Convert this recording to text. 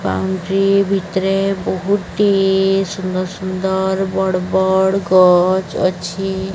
ଭିତରେ ବହୁତି ସୁନ୍ଦର ସୁନ୍ଦର ବଡ଼ ବଡ଼ ଗଛ ଅଛି